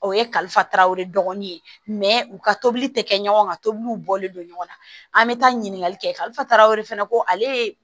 O ye kalifa tarawele dɔgɔnin ye u ka tobili tɛ kɛ ɲɔgɔn ka tobiliw bɔlen don ɲɔgɔn na an bɛ taa ɲininkali kɛ kalifa o de fana ko ale ye